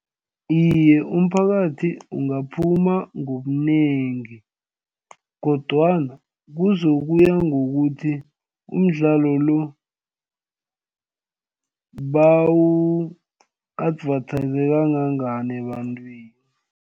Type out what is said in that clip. Iye, umphakathi ungaphuma ngobunengi kodwana kuzokuya ngokuthi umdlalo lo bawu-advertise kangangani ebantwini.